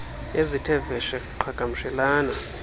ezithe vetshe qhagamshelana